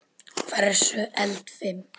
Hversu eldfim?